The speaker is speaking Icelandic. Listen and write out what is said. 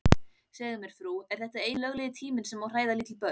Segðu mér frú, er þetta eini löglegi tíminn sem má hræða lítil börn?